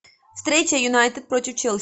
встреча юнайтед против челси